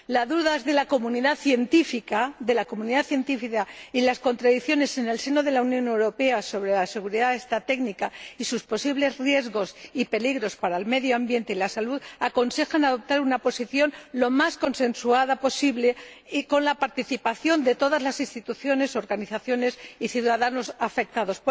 Las dudas de la comunidad científica y las contradicciones en el seno de la Unión Europea sobre la seguridad técnica y sus posibles riesgos y peligros para el medio ambiente y la salud aconsejan adoptar una posición lo más consensuada posible, y con la participación de todas las instituciones, organizaciones y ciudadanos afectados.